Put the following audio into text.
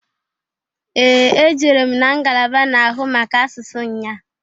Ee! Ejere m na ngalaba na-ahụ maka asụsụ nnyaa.